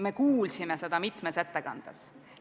Me kuulsime seda mitmes ettekandes.